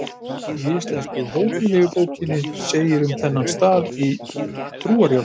Í Íslensku hómilíubókinni segir um þennan stað í trúarjátningunni: